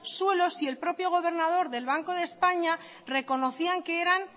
suelo si el propio gobernador del banco de españa reconocían que eran